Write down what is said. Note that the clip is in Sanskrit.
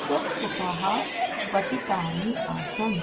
इतस्ततः पतितानि आसन्